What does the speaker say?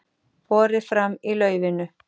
Borið fram í laufinu